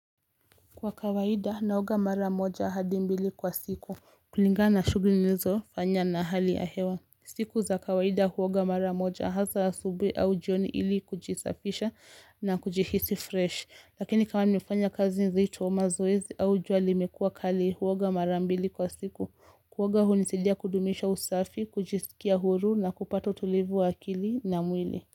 Kwa kawaida naoga mara moja hadi mbili kwa siku. Kulingana shughuli hizo fanyia na hali ya hewa. Siku za kawaida uoga mara moja hasa asubuhi au jioni ili kujisafisha na kujihisi freshi. Lakini kama nimefanya kazi nzito mazoezi au jua liimekua kali uoga mara mbili kwa siku. Kuoga hunisaidia kudumisha usafi, kujisikia huru na kupata utulivu wa akili na mwili.